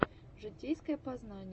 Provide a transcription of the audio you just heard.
житейское познание